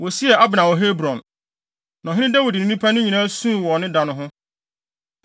Wosiee Abner wɔ Hebron, na ɔhene Dawid ne nnipa no nyinaa suu wɔ ne da no ho.